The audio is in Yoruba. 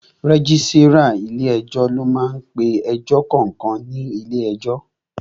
Rẹ́gísírà ilé ẹjọ́ ló máá ń pe ẹjọ́ kankan ní ilé ẹjọ́